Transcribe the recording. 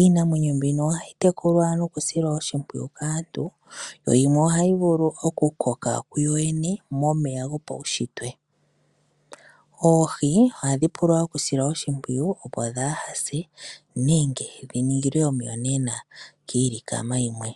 Iinamwenyo mbino ohayi tekulwa nokusilwa oshimpwiyu kaantu yo yimwe ohayi vulu okukoka kuyo yene momeya gopaushitwe. Oohi ohadhi pula okusilwa oshimpwiyu, opo dhaa ha se nenge dhi ningilwe omiyonena kiilikama yimwe.